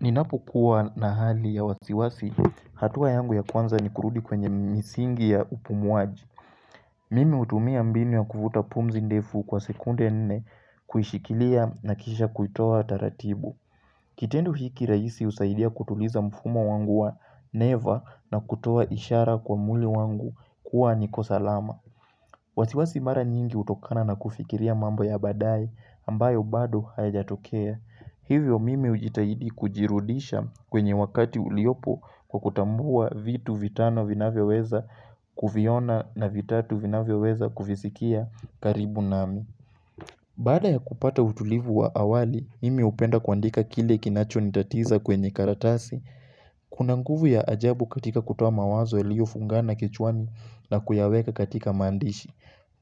Ninapokuwa na hali ya wasiwasi, hatua yangu ya kwanza ni kurudi kwenye misingi ya upumuaji Mimi hutumia mbini wa kufuta pumzi ndefu kwa sekunde nne, kuishikilia na kisha kuitoa taratibu Kitendo hiki raisi husaidia kutuliza mfumo wangu wa neva na kutoa ishara kwa mwili wangu kuwa niko salama wasiwasi mara nyingi hutokana na kufikiria mambo ya baadaye ambayo bado hayajatokea. Hivyo mimi hujitahidi kujirudisha kwenye wakati uliopo kwa kutambua vitu vitano vinavyoweza kuviona na vitatu vinavyoweza kuvisikia karibu nami. Baada ya kupata utulivu wa awali, mimi hupenda kuandika kile kinachonitatiza kwenye karatasi. Kuna nguvu ya ajabu katika kutoa mawazo iliofungana kichwani na kuyaweka katika maandishi.